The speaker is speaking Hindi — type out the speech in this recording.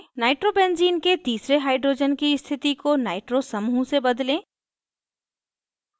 nitrobenzene nitrobenzene के तीसरे hydrogen की स्थिति को nitro समूह से बदलें